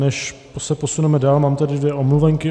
Než se posuneme dál, mám tady dvě omluvenky.